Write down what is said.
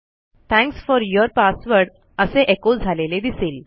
thanks for your password असे एको झालेले दिसेल